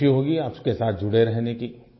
मुझे ख़ुशी होगी आपके साथ जुड़े रहने की